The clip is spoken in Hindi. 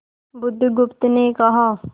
बुधगुप्त ने कहा